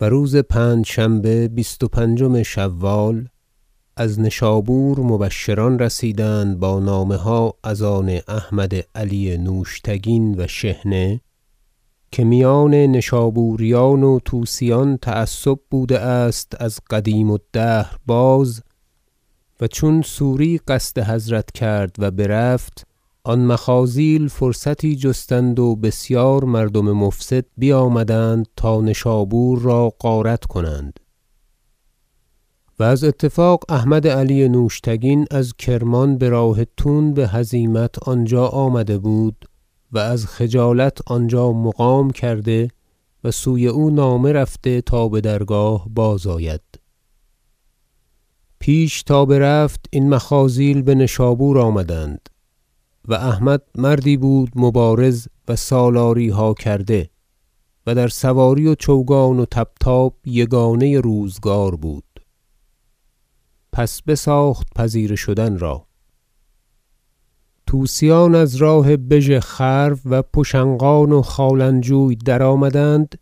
و روز پنجشنبه بیست و پنجم شوال از نشابور مبشران رسیدند با نامه ها از آن احمد علی نوشتگین و شحنه که میان نشابوریان و طوسیان تعصب بوده است از قدیم الدهر باز و چون سوری قصد حضرت کرد و برفت آن مخاذیل فرصتی جستند و بسیار مردم مفسد بیامدند تا نشابور را غارت کنند و از اتفاق احمد علی نوشتگین از کرمان به راه تون به هزیمت آنجا آمده بود و از خجالت آنجا مقام کرده و سوی او نامه رفته تا به درگاه بازآید پیش تا برفت این مخاذیل به نشابور آمدند و احمد مردی بود مبارز و سالاری ها کرده و در سواری و چوگان و طبطاب یگانه روزگار بود پس بساخت پذیره شدن را طوسیان از راه بژخرو و پشنقان و خالنجوی درآمدند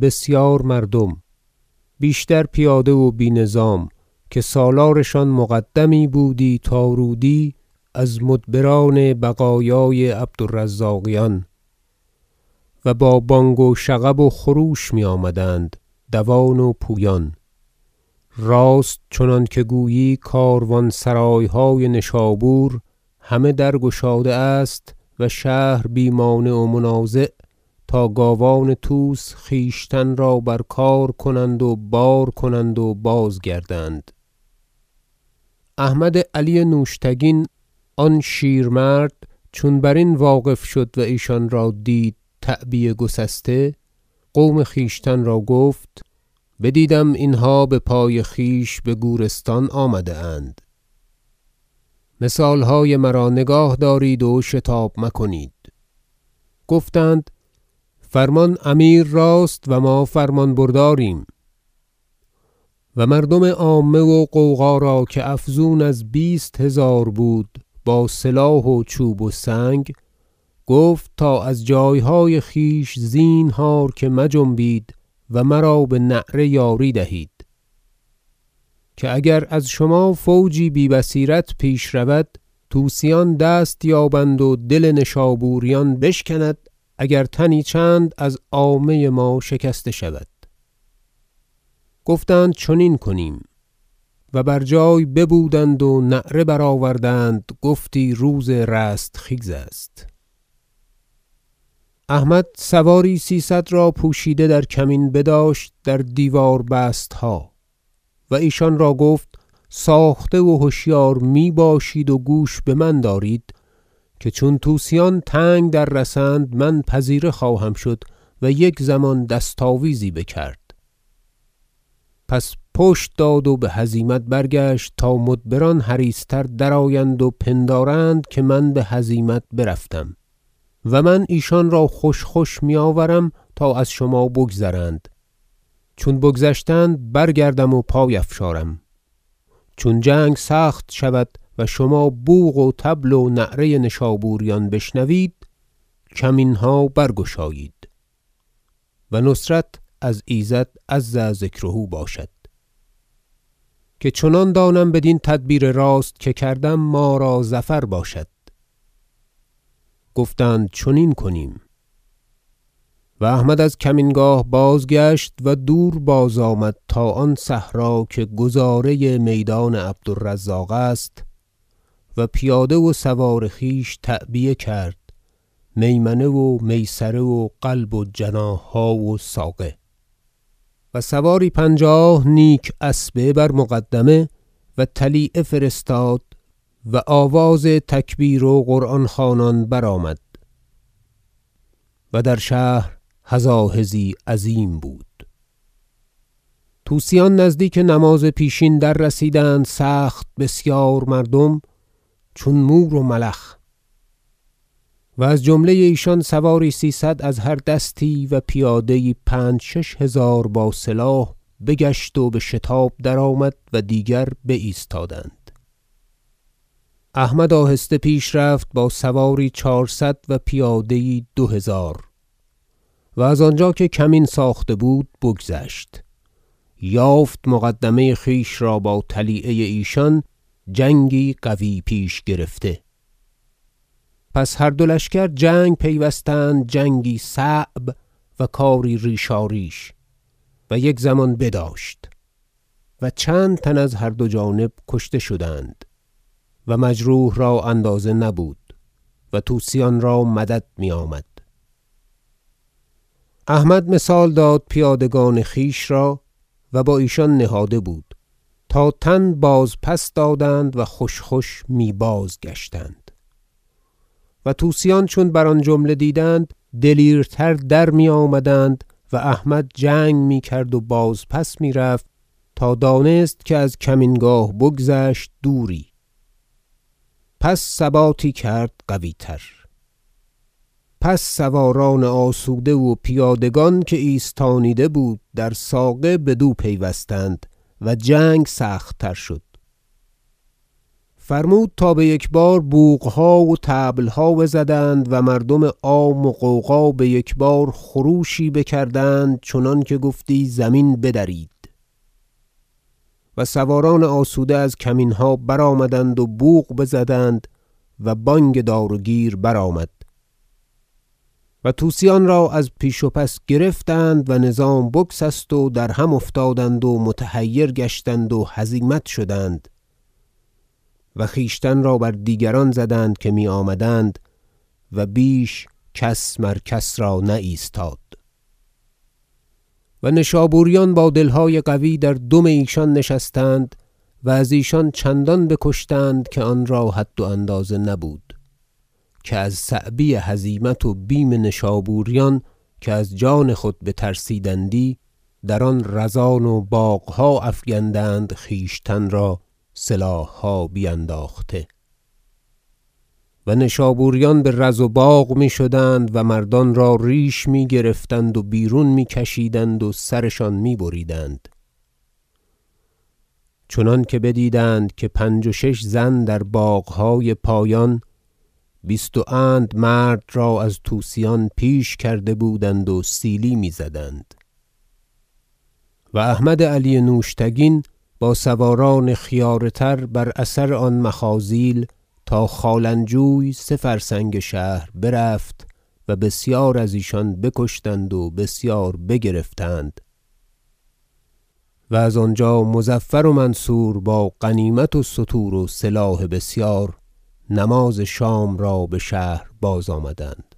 بسیار مردم بیشتر پیاده و بی نظام که سالارشان مقدمی بودی تا رودی از مدبران بقایای عبد الرزاقیان و با بانگ و شغب و خروش می آمدند دوان و پویان راست چنانکه گویی کاروا ن سرای های نشابور همه در گشاده است و شهر بی مانع و منازع تا گاوان طوس خویشتن را بر کار کنند و بار کنند و بازگردند احمد علی نوشتگین آن شیرمرد چون برین واقف شد و ایشان را دید تعبیه گسسته قوم خویشتن را گفت بدیدم اینها به پای خویش به گورستان آمده اند مثال های مرا نگاه دارید و شتاب مکنید گفتند فرمان امیر راست و ما فرمان برداریم و مردم عامه و غوغا را که افزون از بیست هزار بود با سلاح و چوب و سنگ گفت تا از جای های خویش زینهار که مجنبید و مرا به نعره یاری دهید که اگر از شما فوجی بی بصیرت پیش رود طوسیان دست یابند و دل نشابوریان بشکند اگر تنی چند از عامه ما شکسته شود گفتند چنین کنیم و بر جای ببودند و نعره برآوردند گفتی روز رستخیز است احمد سواری سیصد را پوشیده در کمین بداشت در دیوار بستها و ایشان را گفت ساخته و هشیار می باشید و گوش به من دارید که چون طوسیان تنگ در رسند من پذیره خواهم شد و یک زمان دست آویزی بکرد پس پشت داد و به هزیمت برگشت تا مدبران حریص تر درآیند و پندارند که من به هزیمت برفتم و من ایشان را خوش خوش می آورم تا از شما بگذرند چون بگذشتند برگردم و پای افشارم چون جنگ سخت شود و شما بوق و طبل و نعره نیشابوریان بشنوید کمین ها برگشایید و نصرت از ایزد عز ذکره باشد که چنان دانم بدین تدبیر راست که کردم ما را ظفر باشد گفتند چنین کنیم و احمد از کمین گاه بازگشت و دور بازآمد تا آن صحرا که گذاره میدان عبد الرزاق است و پیاده و سوار خویش تعبیه کرد میمنه و میسره و قلب و جناح ها و ساقیه و سواری پنجاه نیک اسبه بر مقدمه و طلیعه فرستاد و آواز تکبیر و قرآن خوانان برآمد و در شهر هزاهزی عظیم بود طوسیان نزدیک نماز پیشین دررسیدند سخت بسیار مردم چون مور و ملخ و از جمله ایشان سواری سیصد از هر دستی و پیاده ای پنج شش هزار با سلاح بگشت و بشتاب درآمد و دیگر بایستادند احمد آهسته پیش رفت با سواری چهارصد و پیاده ای دو هزار و از آنجا که کمین ساخته بود بگذشت یافت مقدمه خویش را با طلیعه ایشان جنگی قوی پیش گرفته پس هر دو لشکر جنگ پیوستند جنگی صعب و کاری ریشاریش و یک زمان بداشت و چند تن از هر دو جانب کشته شدند و مجروح را اندازه نبود و طوسیان را مدد می آمد احمد مثال داد پیادگان خویش را- و با ایشان نهاده بود- تا تن بازپس دادند و خوش خوش می بازگشتند و طوسیان چون بر آن جمله دیدند دلیرتر درمی آمدند و احمد جنگ می کرد و بازپس می رفت تا دانست که از کمین گاه بگذشت دوری پس ثباتی کرد قوی تر پس سواران آسوده و پیادگان که ایستانیده بود در ساقه بدو پیوستند و جنگ سخت تر شد فرمود تا به یکبار بوق ها و طبل ها بزدند و مردم عام و غوغا به یک بار خروشی بکردند چنانکه گفتی زمین بدرید و سواران آسوده از کمین ها برآمدند و بوق بزدند و بانگ دار و گیر برآمد و طوسیان را از پیش و پس گرفتند و نظام بگسست و درهم افتادند و متحیر گشتند و هزیمت شدند و خویشتن را بر دیگران زدند که می آمدند و بیش کس مر کس را نایستاد و نشابوریان با دل های قوی در دم ایشان نشستند و از ایشان چندان بکشتند که آنرا حد و اندازه نبود که از صعبی هزیمت و بیم نشابوریان که از جان خود بترسیدندی در آن رزان و باغ ها افگندند خویشتن را سلاح ها بینداخته و نشابوریان به رز و باغ می شدند و مردان را ریش می گرفتند و بیرون می کشیدند و سرشان می بریدند چنانکه بدیدند که پنج و شش زن در باغ های پایان بیست و اند مرد را از طوسیان پیش کرده بودند و سیلی می زدند و احمد علی نوشتگین با سواران خیاره تر بر اثر آن مخاذیل تا خالنجوی سه فرسنگ شهر برفت و بسیار از ایشان بکشتند و بسیار بگرفتند و از آنجا مظفر و منصور با غنیمت و ستور و سلاح بسیار نماز شام را به شهر بازآمدند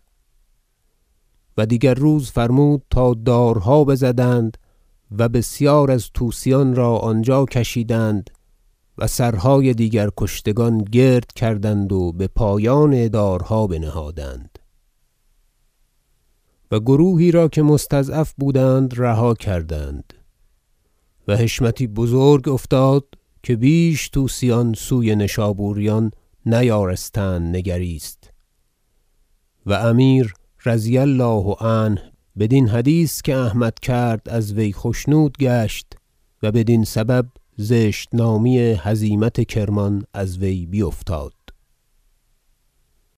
و دیگر روز فرمود تا دارها بزدند و بسیار از طوسیان را آنجا کشیدند و سرهای دیگر کشتگان گرد کردند و به پایان دارها بنهادند و گروهی را که مستضعف بودند رها کردند و حشمتی بزرگ افتاد که بیش طوسیان سوی نشابوریان نیارستند نگریست و امیر رضی الله عنه بدین حدیث که احمد کرد از وی خشنود گشت و بدین سبب زشت نامی هزیمت کرمان از وی بیفتاد